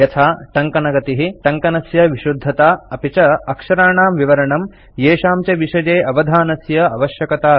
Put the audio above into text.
यथा टङ्कनगतिः टङ्कनस्य विशुद्धता अपि च अक्षराणां विवरणम् येषां च विषये अवधानस्य अवश्यकता वर्तते